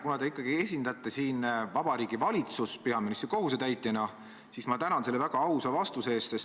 Kuna te ikkagi esindate siin peaministri kohusetäitjana Vabariigi Valitsust, siis ma tänan selle väga ausa vastuse eest.